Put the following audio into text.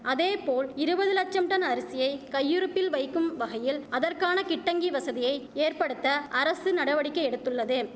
அதேபோல் இருவது லட்சம் டன் அரிசியை கையிருப்பில் வைக்கும்வகையில் அதற்கான கிட்டங்கி வசதியை ஏற்படுத்த அரசு நடவடிக்கை எடுத்துள்ளது